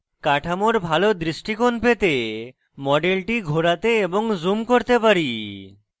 কাঠামোর ভাল দৃষ্টিকোণ পেতে মডেলটি ঘোরাতে এবং zoom করতে পারি